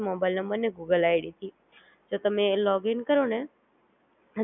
બાઈલ મેં Google ID થી, તો તમે Login કરો ને ત્યાર બાદ, Login કરીને તમે Google Id ચાલુ કરોને એટલે તમને બધાય આવશે